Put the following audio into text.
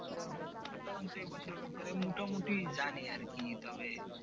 সঞ্চয়পত্রের ব্যাপারে মোটামুটি জানি আর কি তবে